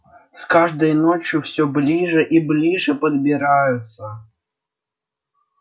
с каждой ночью все ближе и ближе подбираются